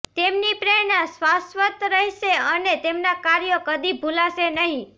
તેમની પ્રેરણા શાશ્વત રહેશે અને તેમના કાર્યો કદી ભુલાશે નહિ